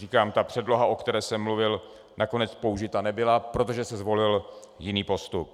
Říkám, ta předloha, o které jsem mluvil, nakonec použita nebyla, protože se zvolil jiný postup.